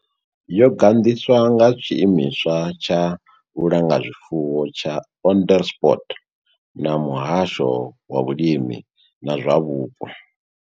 Yo gandiswa nga Tshiimiswa tsha Vhulanga zwifuwo tsha Onderstepoort na Muhasho wa Vhulimi na zwa Vhupo.